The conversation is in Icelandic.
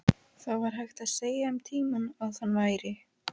Það var hægt að segja um tímann að hann væri.